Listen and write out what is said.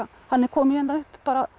hann er kominn hérna upp